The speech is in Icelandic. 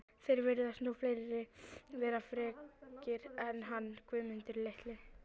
Það virðast nú fleiri vera frekir en hann Guðmundur litli